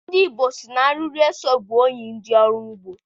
Ndị Igbo sị na arịrị eso bụ enyi ndị ọrụ ugbo.